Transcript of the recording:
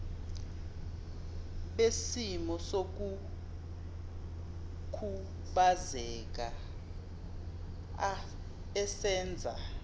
besimo sokukhubazeka esenza